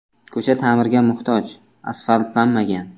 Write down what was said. Ko‘cha ta’mirga muhtoj, asfaltlanmagan.